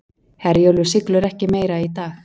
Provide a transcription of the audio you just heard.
Herjólfur siglir ekki meira í dag